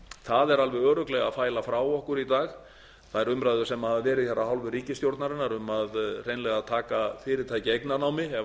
það er alveg örugglega að fæla frá okkur í dag þær umræður sem hafa verið af hálfu ríkisstjórnarinnar um að hreinlega taka fyrirtæki eignarnámi ef þeim